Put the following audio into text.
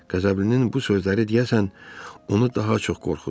Qəzəblinin bu sözləri, deyəsən, onu daha çox qorxutdu.